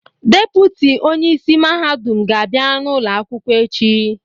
Depụtị onye isi mahadum ga-abịa ụlọ akwụkwọ echi.